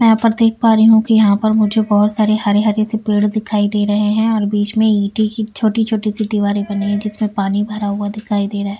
मैं यहां पर देख पा रही हूं कि यहां पर मुझे बहुत सारे हरे हरे से पेड़ दिखाई दे रहे हैं और बीच में ईंटी की छोटी-छोटी सी दीवारी बनी है जिसमें पानी भरा हुआ दिखाई दे रहा है।